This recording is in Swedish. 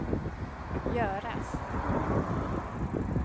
göras